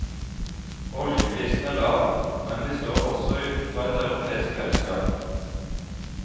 Oljeprisen er lav, men vi står også utenfor et europeisk fellesskap.